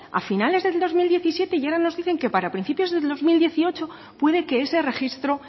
a finales del dos mil diecisiete y ahora nos dicen que para principios del dos mil dieciocho puede que ese registro